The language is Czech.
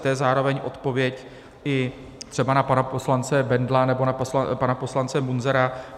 To je zároveň odpověď i třeba na pana poslance Bendla nebo na pana poslance Munzara.